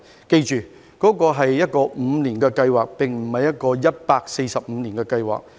須緊記，這是一項5年計劃，而非145年的計劃。